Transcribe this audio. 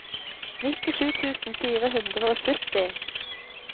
nittisju tusen fire hundre og sytti